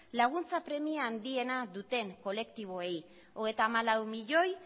laguntza premia handiena duten kolektiboei hogeita hamalau milioi